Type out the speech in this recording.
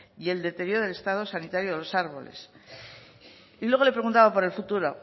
y el deterioro del estado sanitario de los árboles y luego le preguntaban por el futuro